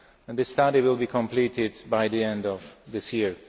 The study will be completed by the end of this year.